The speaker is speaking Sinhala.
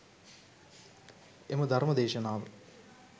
එම ධර්ම දේශනාව